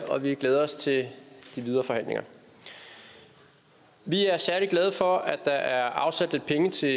og vi glæder os til de videre forhandlinger vi er særlig glade for at der er afsat lidt penge til